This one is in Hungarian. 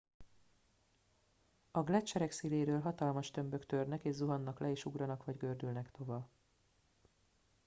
a gleccserek széléről hatalmas tömbök törnek és zuhannak le és ugranak vagy gördülnek tova